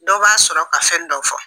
Dɔw b'a sɔrɔ ka fɛn dɔ fɔ